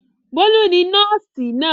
Bólú ni nọ́ọ́sì náà.